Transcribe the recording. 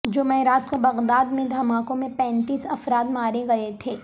جمعرات کو بغداد میں دھماکوں میں پینتیس افراد مارے گئے تھے